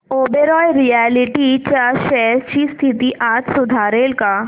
Oberoi realty च्या shares ची स्थिती आज सुधारेल का